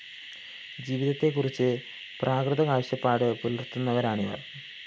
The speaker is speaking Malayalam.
ജീവിതത്തെക്കുറിച്ച് പ്രാകൃത കാഴ്ച്ചപ്പാട് പുലര്‍ത്തുന്നവരാണിവര്‍